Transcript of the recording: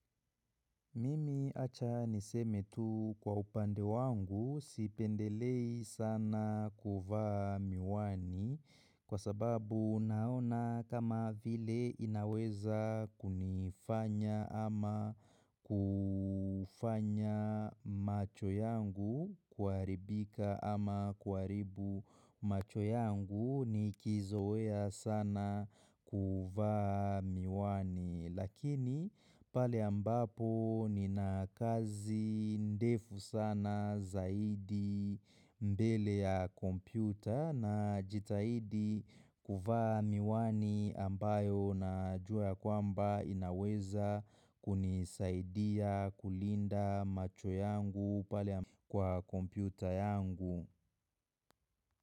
Mimi acha niseme tu kwa upande wangu, sipendelei sana kuvaa miwani, kwa sababu naona kama vile inaweza kunifanya ama kufanya macho yangu kuharibika ama kuharibu macho yangu nikizoea sana kuvaa miwani, lakini pale ambapo nina kazi ndefu sana zaidi mbele ya kompyuta na jitahidi kuvaa miwani ambayo najua kwamba inaweza kunisaidia kulinda macho yangu pale kwa kompyuta yangu.